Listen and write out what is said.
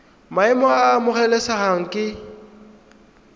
maemo a a amogelesegang ke